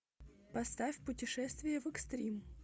поставь путешествие в экстрим